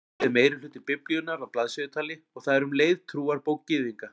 Gamla testamentið er meirihluti Biblíunnar að blaðsíðutali og það er um leið trúarbók Gyðinga.